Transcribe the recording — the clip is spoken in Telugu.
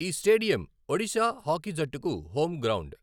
ఈ స్టేడియం ఒడిశా హాకీ జట్టుకు హోమ్ గ్రౌండ్.